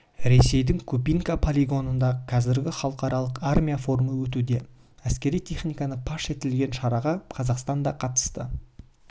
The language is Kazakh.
ресейдің кубинка полигонында қазір халықаралық армия форумы өтуде әскери техниканы паш етілген шараға қазақстан да қатысты